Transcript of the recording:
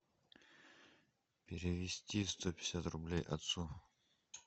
перевести сто пятьдесят рублей отцу